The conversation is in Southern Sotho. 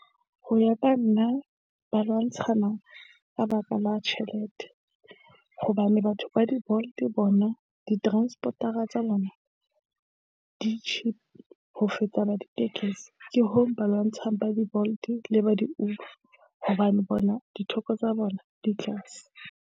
Ho ya ka nna ba lwantshana ka baka la tjhelete hobane batho ba di-Bolt bona di-transport-a tsa bona di cheap ho feta ba ditekesi. Ke hoo ba lwantshang ba di-Bolt le ba di-Uber hobane bona ditheko tsa bona di tlase.